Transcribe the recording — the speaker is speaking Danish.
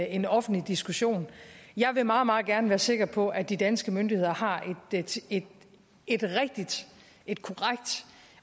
en offentlig diskussion og jeg vil meget meget gerne være sikker på at de danske myndigheder har et et rigtigt